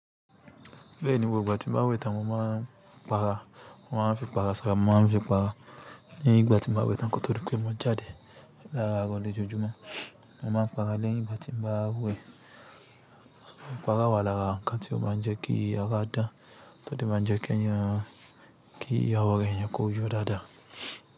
Bẹ́ẹ̀ni, gbogbo ìgbà tí ń bá wẹ̀ tán mo máa ń para, mo máa ń fi ìpara sára, mo máa ń fi para lẹ́yìn ìgbà tí ń bá wẹ̀ tán kó tó. Di pé mo jáde lárarọ̀ lojọjọmo. Mo máa ń para lẹ́yìn ìgbà tí ń bá wẹ̀. Para wà lara wọn ká tí o máa ń jẹ́ kí ara dàn to dẹ̀ máa njẹ́ kí ẹni yan kí èèyàn, kìí awo ara èèyàn kó yọ dàá.